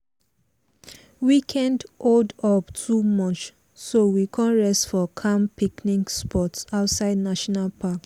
one kind stranger carry us to one fine waterfall road road wey people no too sabi.